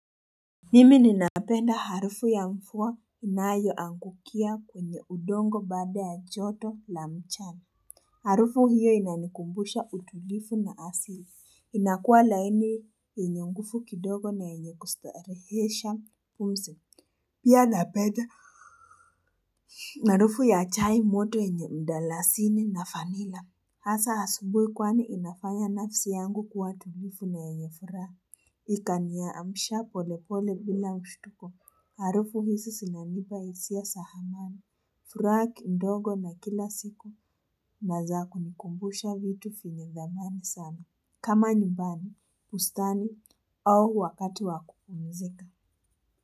Mimi ninapenda harufu ya mvua inayoangukia kwenye udongo baada ya joto la mchana Harufu hiyo inanikumbusha utulivu na asili inakuwa laini yenye nguvu kidogo na yenye kustarehesha pumzi Pia napenda harufu ya chai moto yenye mdalasini na vanila Hasa asubuhi kwani inafanya nafsi yangu kuwa tulivu na yenye furaha Ikaniamsha polepole bila mshtuko harufu hizi zinanipa hisia za amani furaha kidogo na kila siku na za kunikumbusha vitu vyenye dhamani sana kama nyumbani, bustani, au wakati wakupumzika.